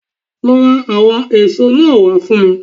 Lọ ra àwọn èso náà wá fún mi